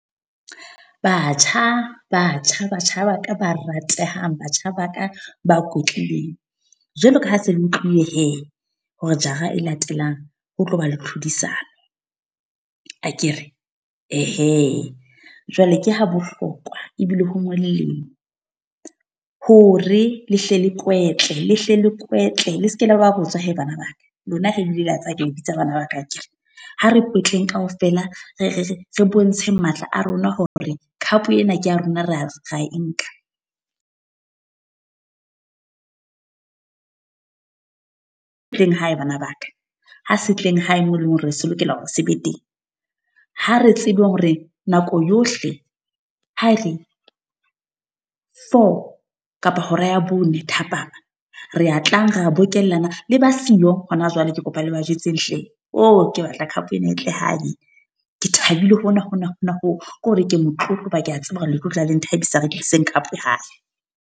Batjha, batjha, batjha ba ka ba ratehang. Batjha ba ka ba kwetlileng. Jwalo ka ha se le utliwe he hore jara e latelang ho tlo ba le tlhodisano, akere. Ehe, jwale ke ha bohlokwa ebile ho molemo, hore le hle le kwetle le hle le kwetle le seke la ba botswa he bana ba ka. Lona he ebile le a tseba hore ke le bitsa bana ba ka akere. Ha re kwetleng kaofela re re re bontsheng matla a rona hore cup ena ke ya rona, ra ra e nka. Tleng hae bana ba ka. Ha se tleng hae moo e leng hore se lokela hore se be teng. Ha re tsebe hore nako yohle ha e re four kapa hora ya bone thapama. Re a tlang ra bokellana, le ba siyo hona jwale ke kopa le ba jwetseng hle. O ke batla cup ena e tle hae. Ke thabile hona hona hona hoo, ke hore ke motlotlo ho ba ke a tseba hore le tlo utlwa le nthabisa re tlise ng cup hae.